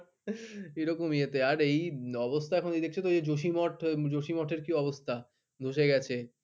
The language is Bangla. এরকম ইয়ে তে আর এই অবস্থা শুধু এই কি অবস্থা ধশে গেছে।